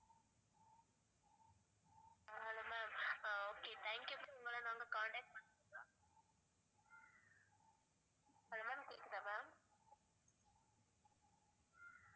Hello ma'am ah okay thank you ma'am நாங்க உங்கள contact பண்றோம் hello ma'am கேக்குதா ma'am?